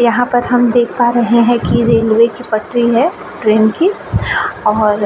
यहाँ पर हम देख पा रहे हैं की रेलवे की पटरी है ट्रैन की और